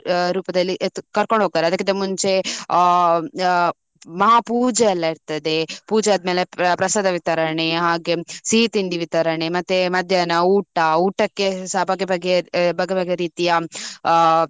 ರೂಪದಲ್ಲಿ ಏತ್ ~ ಕರ್ಕೊಂಡು ಹೋಗ್ತಾರೆ. ಅದಕ್ಕಿಂತ ಮುಂಚೆ, ಆ ಆ ಮಹಾಪೂಜೆ ಎಲ್ಲ ಇರ್ತದೆ. ಪೂಜೆ ಆದ್ಮೇಲೆ ಪ್ರಸಾದ ವಿತರಣೆ ಹಾಗೆ ಸಿಹಿ ತಿಂಡಿ ವಿತರಣೆ. ಮತ್ತೆ ಮಧ್ಯಾಹ್ನ ಊಟ, ಊಟಕ್ಕೆ ಸಹ ಬಗೆ ಬಗೆ ಆ ಬಗೆ ಬಗೆ ರೀತಿಯ ಆ.